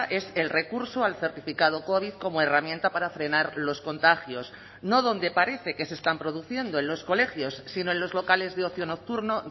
es el recurso al certificado covid como herramienta para frenar los contagios no donde parece que se están produciendo en los colegios sino en los locales de ocio nocturno